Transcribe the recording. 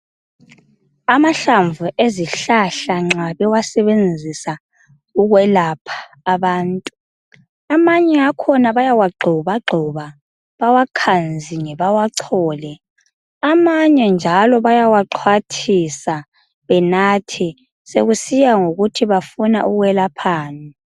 Amahlamvu ezihlahla nxa bewasebenzisa ukwelapha abantu,. amanye akhona bayawagxobagxoba. Bawakhanzinge, bawachole. Amanye njalo bayawaxhwathisa, benathe. Sekusiya njalo ngokuthi, bafuna ukwelaphani.